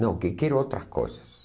Não, que quero outras coisas.